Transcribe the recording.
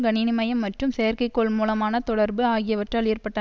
கணினிமயம் மற்றும் செயற்கை கோள்மூலமான தொடர்பு ஆகியவற்றால் ஏற்பட்ட